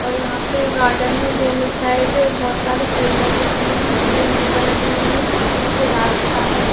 और यहाँ पे गार्डन में दोनों साइड बोहोत सारे पेड़ लगे हुए है। ग्रीन दूबा लगी हुई है। बीच मे से रास्ता है।